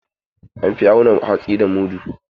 An fi auna hatsi da mudu.